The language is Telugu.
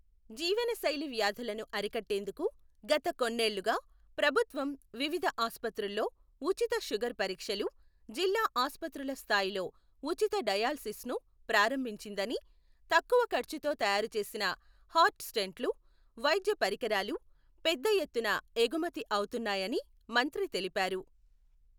జీవనశైలి వ్యాధులను అరికట్టేందుకు గత కొన్నేళ్లుగా ప్రభుత్వం వివిధ ఆసుపత్రుల్లో ఉచిత షుగర్ పరీక్షలు, జిల్లా ఆసుపత్రుల స్థాయిలో ఉచిత డయాలసిస్ను ప్రారంభించిందని, తక్కువ ఖర్చుతో తయారు చేసిన హార్ట్ స్టెంట్లు, వైద్య పరికరాలు పెద్దఎత్తున ఎగుమతి అవుతున్నాయని మంత్రి తెలిపారు.